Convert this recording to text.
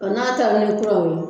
A n'a taara ni kuraw ye